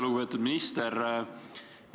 Lugupeetud minister!